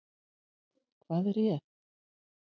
Hvað réð?